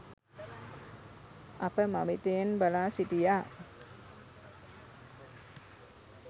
අප මවිතයෙන් බලා සිටියා